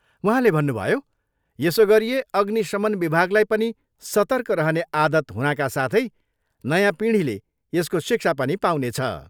उहाँले भन्नुभयो, यसो गरिए अग्निशमन विभागलाई पनि सतर्क रहने आदत हुनाका साथै नयाँ पिँढीले यसको शिक्षा पनि पाउनेछ।